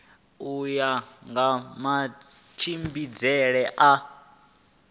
u ya nga matshimbidzele a